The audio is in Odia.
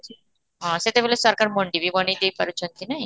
ହଁ ସେତେବେଳେ ସରକାର ମଣ୍ଡି ବି ବନେଇ ଦେଇ ପାରୁଛନ୍ତି ନାଇଁ?